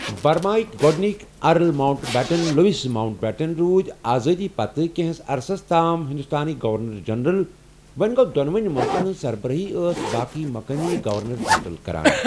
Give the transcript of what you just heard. برماہٕکۍ گۅڈنِکۍ Earl Mountbatten Louis Mountbatten روٗدۍ آزٲدی پتہٕ کینٛہہس عرصس تام ہندوستانکۍ گورنر جنرل وۅں گوٚو دۅنونی مُلکن ہٕنٛز سربرٲہی ٲسۍ باقےٕ مقٲمی گورنر جنرل کران۔